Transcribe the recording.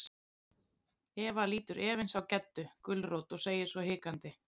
Eva lítur efins á Geddu gulrót og segir svo hikandi.